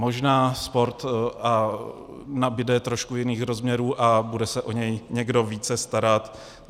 Možná sport nabude trochu jiných rozměrů a bude se o něj někdo více starat.